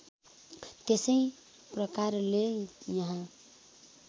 त्यसै प्रकारले यहाँ